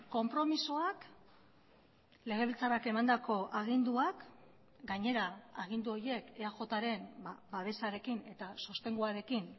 konpromisoak legebiltzarrak emandako aginduak gainera agindu horiek eajren babesarekin eta sostenguarekin